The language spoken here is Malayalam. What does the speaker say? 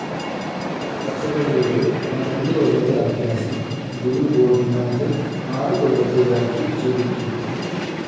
കഥകളിയുടെ പന്ത്രണ്ട്‌ കൊല്ലത്തെ അഭ്യാസം ഗുരു ഗോപിനാഥ് ആറ്‌ കൊല്ലത്തേതാക്കി ചുരുക്കി.